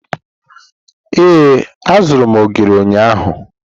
Ee, azụrụ m ogiri ụnyahụ.